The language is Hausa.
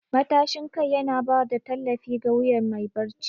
Matashin kai yana ba da tallafi ga wuyan mai barci.